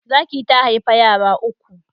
Zaki ta haifa yara uku